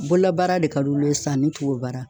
Bololabaara de ka d'olu ye san ani tubabu baara.